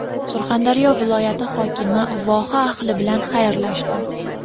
Surxondaryo viloyati hokimi voha ahli bilan xayrlashdi.